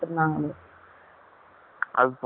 அது பொல்லாச்சி ல